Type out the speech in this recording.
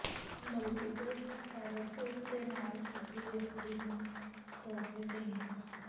multiple sclerosis ਦੇ ਨਾਲ ਇੱਕ ਵਿਅਕਤੀ ਨੂੰ ਤੋਹਫ਼ੇ ਦੇਣੇ